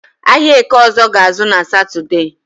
Ahịa Eke ọzọ ga-ázụ́ na Satọde